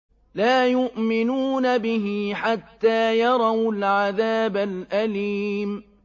لَا يُؤْمِنُونَ بِهِ حَتَّىٰ يَرَوُا الْعَذَابَ الْأَلِيمَ